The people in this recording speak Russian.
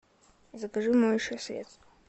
закажи моющее средство